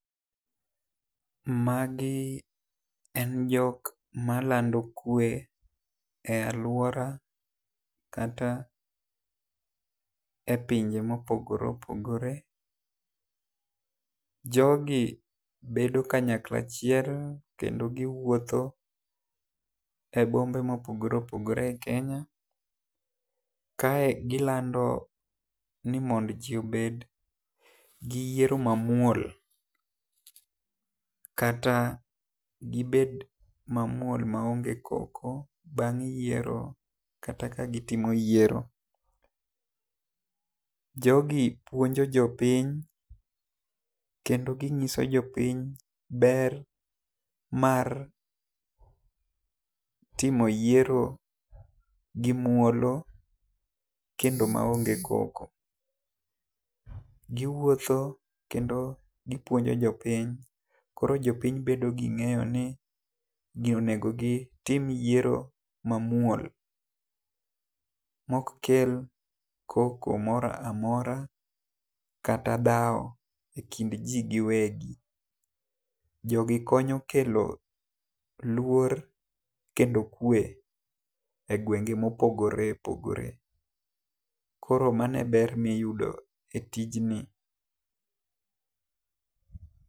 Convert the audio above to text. Magi en jok ma lando kwe e aluora kata e pinje ma opogore opogore .Jo gi bedo kanyakla achiel kendo gi wuotho e bombe ma opogore opogore e kenya kae, ilando ni mondo ji obed gi yiero ma muol kata gi bed ma muol ma onge koko bang' yiero kata ka gi timo yiero. Jo gi puonjo jopiny kata gi ng'iso jopiny ber mar timo yiero gi muolo kendo ma onge koko. Gi wuotho kendo gi puonjo jopiny koro jopiny bedo gi ng'eyo ni onego gi tim yiero ma muol mok kel koko moro amora kata dhawo e kind gi gi wegi. Jo gi konyo kelo luor kendo kwe e gwenge ma opogore opogore. Koro mano e ber mi iyudo e tijni.